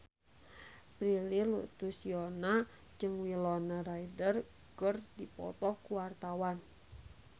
Prilly Latuconsina jeung Winona Ryder keur dipoto ku wartawan